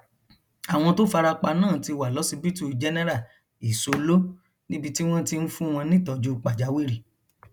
àwọn tó fara pa náà ti wà lọsibítù jẹnẹra ìsoló níbi tí wọn ti ń fún wọn nítọjú pàjáwìrì